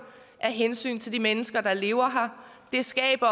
af hensyn til de mennesker der lever her det skaber